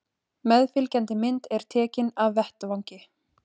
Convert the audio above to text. Meðfylgjandi mynd er tekin af vettvangi